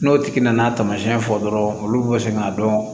N'o tigi nana tamasiyɛn fɔ dɔrɔn olu bɛ se k'a dɔn